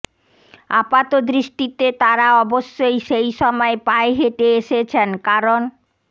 আপাতদৃষ্টিতে তারা অবশ্যই সেই সময়ে পায়ে হেঁটে এসেছেন কারণ